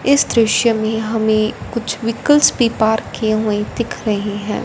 इस दृश्य में हमें कुछ वीकल्स भी पार्क किए हुए दिख रहे हैं।